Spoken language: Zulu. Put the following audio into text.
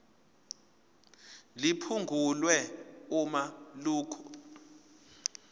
liphungulwe uma lokhu